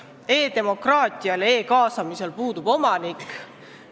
E-demokraatial, e-kaasamisel puudub omanik.